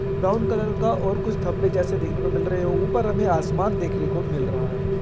Brown colour का और कुछ धब्बे जैसे देखने को मिल रहे हैं ऊपर हमें आसमान देखने को मिल रहा है।